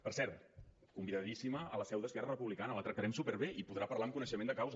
per cert convidadíssima a la seu d’esquerra republicana la tractarem superbé i podrà parlar amb coneixement de causa